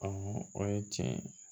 o ye tiɲɛ ye